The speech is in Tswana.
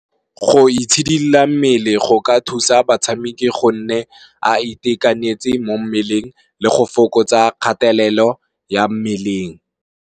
Go itshidila mmele go ka thusa batshameki go nne a itekanetse mo mmeleng le go fokotsa kgatelelo ya mmeleng.